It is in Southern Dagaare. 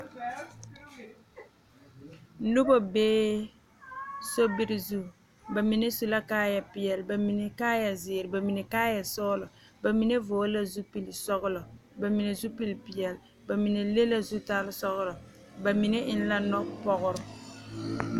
Noba bee sobiiri zu bamine su la kaaya peɛle, bamine kaaya ziiri, bamine kaaya sɔglɔ, bamine vɔgle zupele sɔglɔ bamine zupele peɛle bamine le la zutal sɔglɔ bamine eŋ la noɔpɔgre.